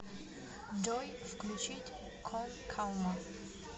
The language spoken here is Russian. джой включить кон калма